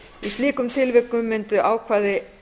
í slíkum tilvikum myndu ákvæði